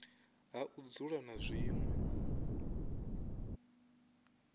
ha u dzula na zwinwe